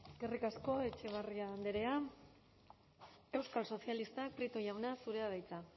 eskerrik asko etxebarria andrea euskal sozialistak prieto jauna zurea da hitza